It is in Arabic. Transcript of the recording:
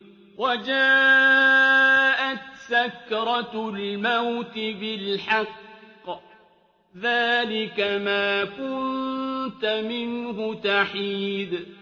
وَجَاءَتْ سَكْرَةُ الْمَوْتِ بِالْحَقِّ ۖ ذَٰلِكَ مَا كُنتَ مِنْهُ تَحِيدُ